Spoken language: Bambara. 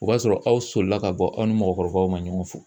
O b'a sɔrɔ aw solila ka bɔ aw ni mɔgɔkɔrɔbaw ma ɲɔgɔn fo